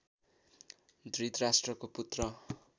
धृतराष्ट्रको पुत्र